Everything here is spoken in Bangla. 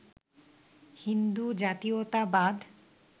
হিন্দু জাতীয়তাবাদ